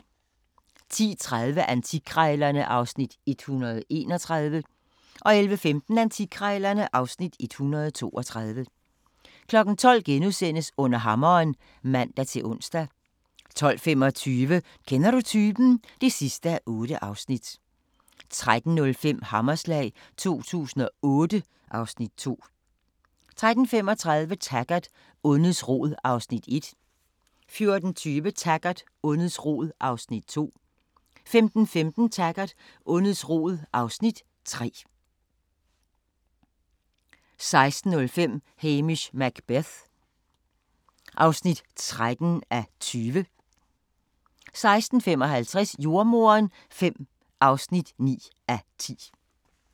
10:30: Antikkrejlerne (Afs. 131) 11:15: Antikkrejlerne (Afs. 132) 12:00: Under hammeren *(man-ons) 12:25: Kender du typen? (8:8) 13:05: Hammerslag 2008 (Afs. 2) 13:35: Taggart: Ondets rod (Afs. 1) 14:20: Taggart: Ondets rod (Afs. 2) 15:15: Taggart: Ondets rod (Afs. 3) 16:05: Hamish Macbeth (13:20) 16:55: Jordemoderen V (9:10)